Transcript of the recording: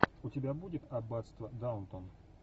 у тебя будет аббатство даунтон